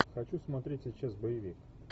хочу смотреть сейчас боевик